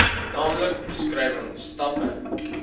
naamlik beskrywing stappe